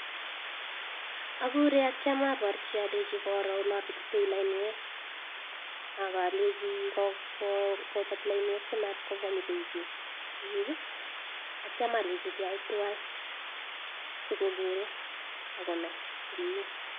Akure atyam abarchi alechi koro olabetitei lainwek, akalechi kobat lainwek simat kobwa nyokoib bek tukuk, atyam alechi keyai twai si kokere ako nai komnye.